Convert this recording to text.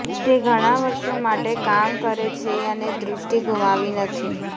તે ઘણા વર્ષો માટે કામ કરે છે અને દૃષ્ટિ ગુમાવી નથી